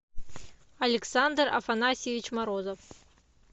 александр афанасьевич морозов